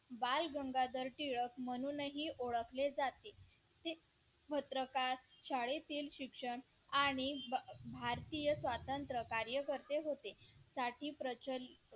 बाळ गंगाधर टिळक म्हणूनही ओळखले जातील शाळेतील शिक्षण आणि भारतीय स्वातंत्र्य कार्यकर्ते होते